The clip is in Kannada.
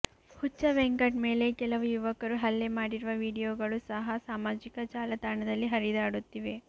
ಹುಚ್ಚ ವೆಂಕಟ್ ಮೇಲೆ ಕೆಲವು ಯುವಕರು ಹಲ್ಲೆ ಮಾಡಿರುವ ವಿಡಿಯೋಗಳು ಸಹ ಸಾಮಾಜಿಕ ಜಾಲತಾಣದಲ್ಲಿ ಹರಿದಾಡುತ್ತಿವೆ